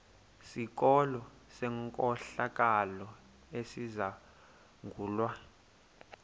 sikolo senkohlakalo esizangulwa